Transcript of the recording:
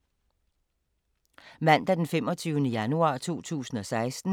Mandag d. 25. januar 2016